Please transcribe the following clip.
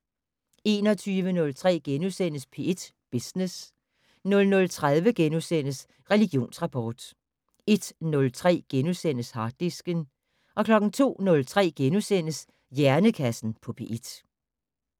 21:03: P1 Business * 00:30: Religionsrapport * 01:03: Harddisken * 02:03: Hjernekassen på P1 *